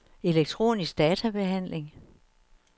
elektronisk databehandling